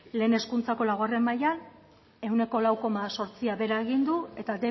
lehen hezkuntzako laugarren mailan ehuneko lau koma zortzia behera egin du eta